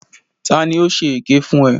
Ta ni ó ṣe èké fún ẹ?